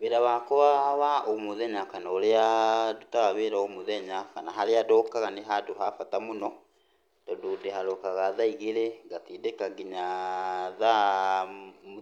Wĩra wakwa wa o mũthenya kana ũrĩa ndutaga wĩra o mũthenya, kana harĩa ndokaga nĩ handũ ha bata mũno, tondũ ndĩharokaga thaa igĩrĩ ngatindĩka kinya thaa